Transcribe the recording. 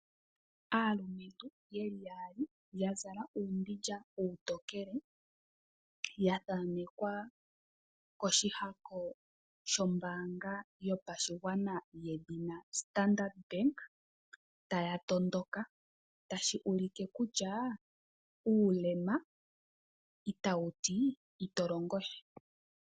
Aalumentu yeli yaali yazala uumbindja uutokele wa thaanekwa koshihako shombaanga yopashigwana yedhina Standard Bank taya tondoka tashi ulike kutyaa uulema ita wuti ito longosha.